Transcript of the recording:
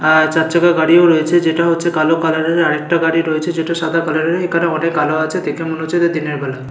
আর চারচাকা গাড়িও রয়েছে যেটা হচ্ছে কালো কালার এর আর একটা গাড়ি রয়েছে সেটা সাদা কালার এর এখানে অনেক আলো আছে দেখে মনে হচ্ছে যে এটা দিনের বেলা।